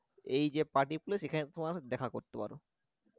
এই যে party place এখানে তোমার দেখা করতে পার।